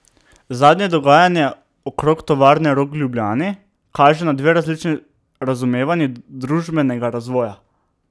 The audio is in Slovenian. Zadnje dogajanje okrog Tovarne Rog v Ljubljani kaže na dve različni razumevanji družbenega razvoja.